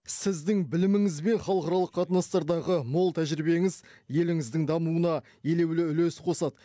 сіздің біліміңіз бен халықаралық қатынастардағы мол тәжірибеңіз еліңіздің дамуына елеулі үлес қосады